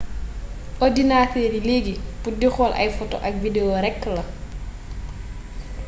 ordinater yi legui pour di xool ay foto ak video rek la